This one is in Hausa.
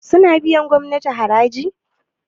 suna biyar gomnati haraji?